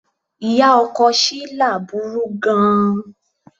Ìyá ọkọ Shila burú gan-an.